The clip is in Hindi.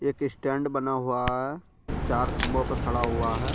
एक स्टैंड बना हुआ है चार खंबों पर खड़ा हुआ है।